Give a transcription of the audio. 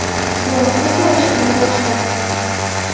Biroq u borishdan bosh tortdi.